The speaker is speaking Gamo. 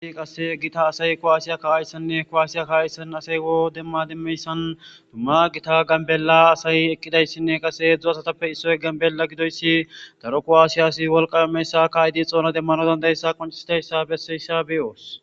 qase gita asay kowaasiya ka7ayssanne kowaasiya ka7ayssan asay wo demma dimmeyssan dumma gita gambela asay ekkidayssinne qase edzdzu asatappe issoy gambella gidoyssi daro kowaasiyasi wolqameyssa kaaydi xoona demmano dandayssa qoncisidayssa besseyssa beyoos